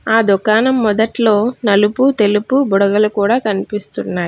ఆ దుకాణం మొదట్లో నలుపు తెలుపు బుడగలు కూడా కనిపిస్తున్నాయి.